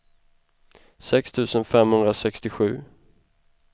sex tusen femhundrasextiosju